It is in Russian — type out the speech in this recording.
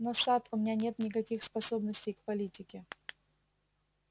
но сатт у меня нет никаких способностей к политике